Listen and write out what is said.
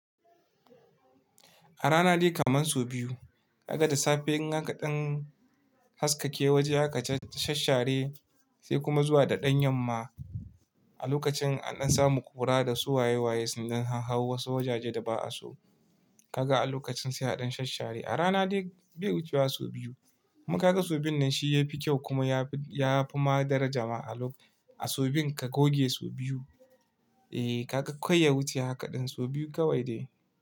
A rana dai kamar so biyu ka ga da safe haka ɗan haskake waje haka shashare sai kuma zuwa da ɗan yamma a lokacin an dan samu kura da su waye waye sun dan hau hau wasu wajaje da ba a so. Ka ga a lokacin sai a ɗan shashare. A rana dai bai wucewa so biyu kuma ka ga sobiyun nan shi ya fi kyau kuma ya fi ma daraja ma a so biyun ka goge so biyu. Eh ka ga kai ya wuce haka ɗin so biyu kawai de.